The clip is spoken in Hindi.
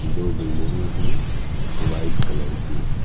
दो बिल्डिंग है व्हाइट कलर की।